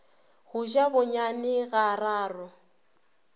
go ja bonyane ga raro